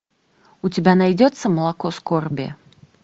у тебя найдется молоко скорби